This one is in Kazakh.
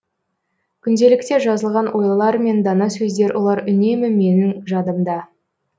күнделікте жазылған ойлар мен дана сөздер олар үнемі менің жадымда